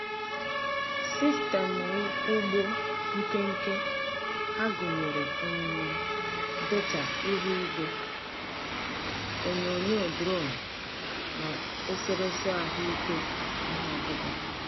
Sistemụ ugbo nkenke ha gụnyere um data ihu igwe, onyonyo drone na eserese ahụike ihe ọkụkụ.